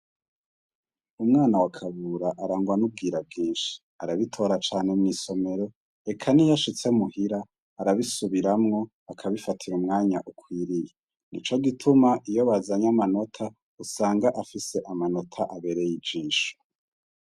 Umwana wakabura arangwanubwira bwinshi arabitora cane mw'isomero eka ni yashitse muhira arabisubiramwo akabifatira umwanya ukwiriye, ni co gituma iyo bazanye amanota usanga afise amanota abereye ijinshi.